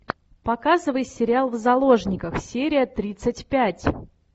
показывай сериал в заложниках серия тридцать пять